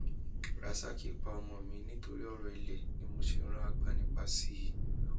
rasaki pa ọmọ mi nítorí ọrọ ilé ni mo ṣe rán agbanipa sí i